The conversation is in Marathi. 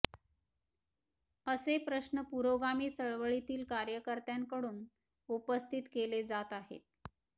असे प्रश्न पुरोगामी चळवळीतील कार्यकर्त्यांकडून उपस्थित केले जात आहेत